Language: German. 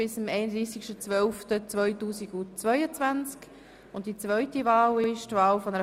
Möchte jemand von den Fraktionen zu diesen Wahlgeschäften das Wort ergreifen?